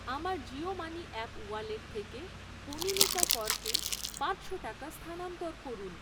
আমার Jio money app wallet থেকে কনীনিকা করকে পাঁচশো টাকা স্থানান্তর করুন।